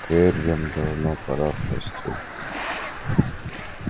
кэррин давно пора в постель